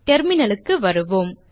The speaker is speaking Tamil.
டெர்மினல் க்கு வருவோம்